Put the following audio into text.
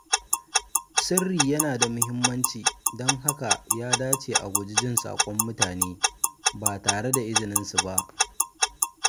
Sirri yana da mahimmanci, don haka ya dace a guji jin saƙon mutane ba tare da izininsu ba.